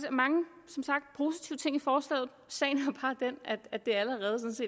er mange positive ting i forslaget sagen